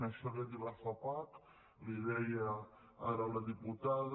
això li ho ha dit la fapac li ho deia ara la diputada